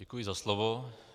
Děkuji za slovo.